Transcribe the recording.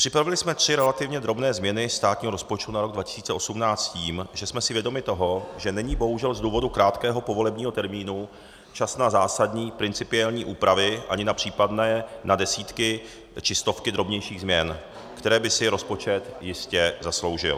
Připravili jsme tři relativně drobné změny státního rozpočtu na rok 2018 s tím, že jsme si vědomi toho, že není bohužel z důvodu krátkého povolebního termínu čas na zásadní principiální úpravy ani na případné desítky či stovky drobnějších změn, které by si rozpočet jistě zasloužil.